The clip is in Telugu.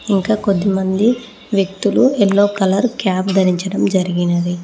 ఇంకా కొంతమంది వ్యక్తులు యెల్లో కలర్ క్యాప్ ధరించడం జరిగినది.